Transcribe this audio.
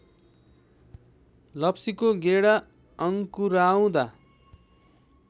लप्सीको गेडा अङ्कुराउँदा